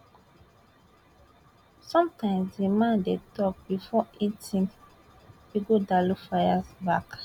sometimes di man dey tok before e tink ighodalo fire back